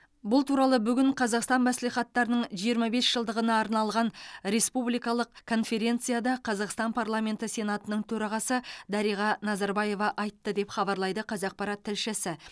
бұл туралы бүгін қазақстан мәслихаттарының жиырма бес жылдығына арналған республикалық конференцияда қазақстан парламенті сенатының төрағасы дариға назарбаева айтты деп хабарлайды қазақпарат тілшісі